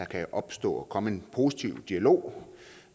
kan opstå og komme en positiv dialog